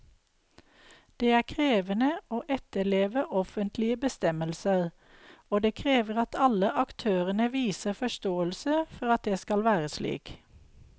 Det er krevende å etterleve offentlige bestemmelser, og det krever at alle aktørene viser forståelse for at det skal være slik.